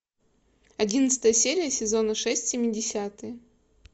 одиннадцатая серия сезона шесть семидесятые